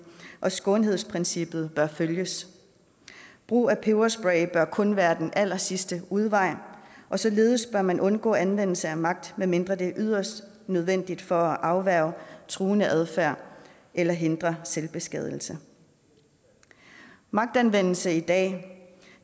og skånsomhedsprincippet bør følges brug af peberspray bør kun være den allersidste udvej og således bør man undgå anvendelse af magt medmindre det er yderst nødvendigt for at afværge truende adfærd eller hindre selvbeskadigelse magtanvendelse i dag